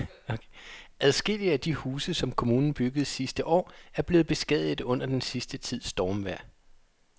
Adskillige af de huse, som kommunen byggede sidste år, er blevet beskadiget under den sidste tids stormvejr.